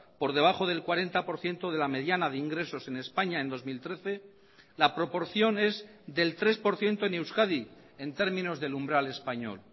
por debajo del cuarenta por ciento de la mediana de ingresos en españa en dos mil trece la proporción es del tres por ciento en euskadi en términos del umbral español